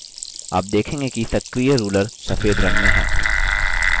आप देखेंगे कि सक्रिय ruler सफेद रंग में है